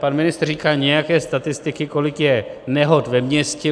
Pan ministr říkal nějaké statistiky, kolik je nehod ve městě.